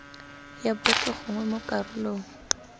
ya botlhe gongwe mo karolong